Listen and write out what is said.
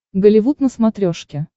голливуд на смотрешке